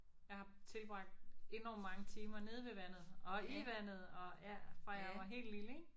Jeg har tilbragt enormt mange timer nede ved vandet og i vandet og ja fra jeg var helt lille ik